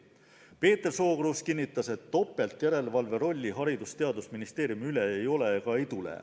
Peeter Sookruus kinnitas, et topeltjärelevalve rolli Haridus-ja Teadusministeeriumi üle ei ole ega tule.